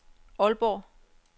Aalborg